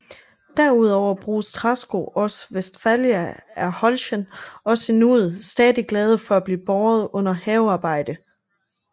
Derudover bruges træsko også Westphalia er Holschen også i nuet stadig glade for at blive båret under havearbejde